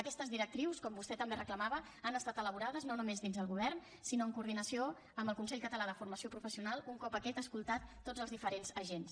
aquestes directrius com vostè també reclamava han estat elaborades no només dins el govern sinó en coordinació amb el consell català de formació professional un cop aquest ha escoltat tots els diferents agents